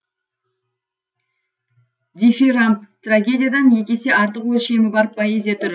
дифирамб трагедиядан екі есе артық өлшемі бар поэзия түрі